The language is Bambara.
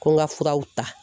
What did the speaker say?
Ko n ka furaw ta